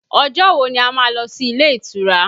Ọjọ́ wo ni a má lọ sí ilé ìtura?